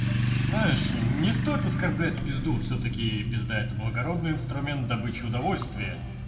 знаешь не стоит оскорблять пизду всё-таки пизда это благородный инструмент добыча удовольствия